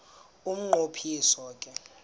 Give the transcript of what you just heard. umnqo phiso ke